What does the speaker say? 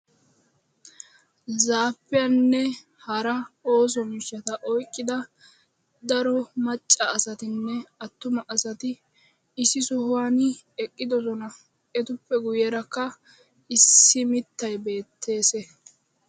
Zaapiyaanne hara osso mishshaata oyqiida daro macca nne attuma asati issi sohuwaani eqqidosona ettappe guyyeraka issi mittay beettes.